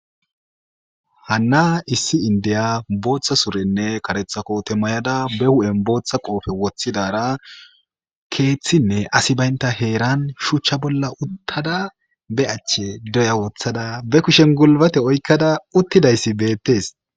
hanna issi indiya booththa surenne karetha koote may7ada be hu7en booththa qoofe woththidara keeththinne asi baynta heeran shuchcha bolla uttada be achche deya woththada be kushen gulbate oykkada uttidayssi beettes